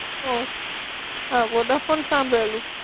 ઓ! હા, વોડાફોન સાંભળેલું.